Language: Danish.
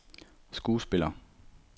skuespiller